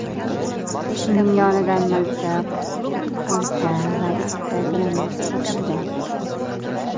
Uning yonidan miltiq, ikkita to‘pponcha va ikkita granata topilgan.